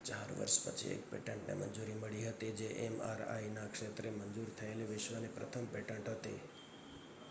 4 વર્ષ પછી એક પેટન્ટને મંજૂરી મળી હતી જે mri ના ક્ષેત્રે મંજુર થયેલી વિશ્વની પ્રથમ પેટેન્ટ હતી